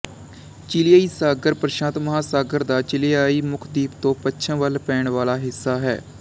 ਚਿਲੀਆਈ ਸਾਗਰ ਪ੍ਰਸ਼ਾਂਤ ਮਹਾਂਸਾਗਰ ਦਾ ਚਿਲੀਆਈ ਮੁਖਦੀਪ ਤੋਂ ਪੱਛਮ ਵੱਲ ਪੈਣ ਵਾਲਾ ਹਿੱਸਾ ਹੈ